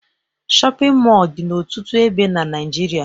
Shọpịn mọọ dị n'ọtụtụ ebe na Naịjirịa